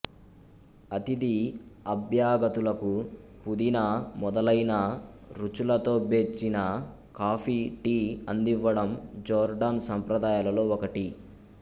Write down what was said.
అతిథి అభ్యాగతులకు పుదీనా మొదలైన రుచులతోబ్చేర్చిన కాఫీ టీ అందివ్వడం జోర్డాన్ సంప్రదాయాలలో ఒకటి